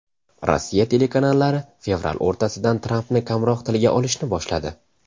Rossiya telekanallari fevral o‘rtasidan Trampni kamroq tilga olishni boshladi.